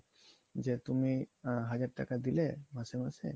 যে তুমি আগের টাকা দিলে মাসে মাসে